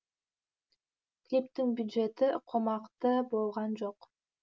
клиптің бюджеті қомақты болған жоқ